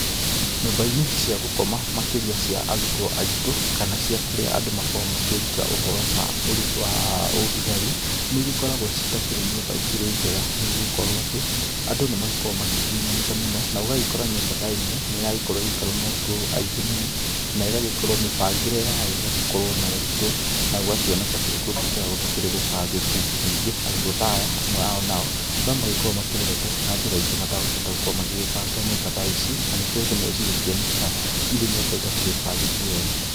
Nyũmba-inĩ cia gũkoma makĩria cia arũtwo aĩtũ kana kũrĩa andũ makoragwo akĩruta ũhoro wa ũthigari, nĩigĩkoragwo citakĩrĩ nyũmba itakĩrĩ njega, nĩgũgĩkorwo atĩ andũ nĩmagĩkoragwo makĩhihinyanĩte mũno, na ũgagĩkora nyũmba ta ĩmwe nĩragĩikarwo nĩ arutwo aingĩ mũno, na igagĩkorwo mĩbangĩre ya yo ĩgagĩkorwo na ũritũ na gũgakĩoneka gũkĩrĩ kũndũ gũtakĩrĩ gũbangĩku. Ningĩ arutwo ta aya, amwe a o nao no magĩkoragwo makĩreretwo na njĩra ingĩ matagũkĩhota gũkorwo magĩbanga nyũmba ta ici na nĩkĩo rĩmwe igĩkĩonekaga irĩ nyũmba itakĩrĩ bangĩku wega.